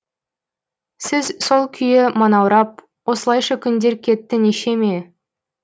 сіз сол күйі манаурап осылайша күндер кетті нешеме